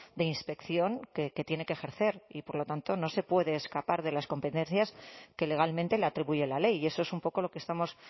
de inspección que tiene que ejercer y por lo tanto no se puede escapar de las competencias que legalmente le atribuye la ley y eso es un poco lo que estamos